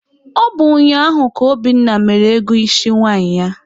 Ọ bụ ụnyaahụ ka Obinna mere ego isi nwaanyị ya.